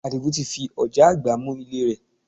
Àdìgún ti fi ọ̀já àgbá mú ilé rẹ̀